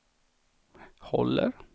håller